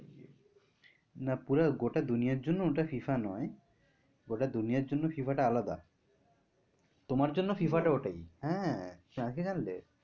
না পুরো গোটা দুনিয়াটার জন্য ওটা FIFA নয় গোটা দুনিয়াটার জন্য FIFA টা আলাদা তোমার জন্য FIFA টা ওটাই, হ্যাঁ তুমি আরকি জানলে?